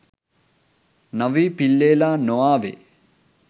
නවී පිල්ලෙලා නොආවේ.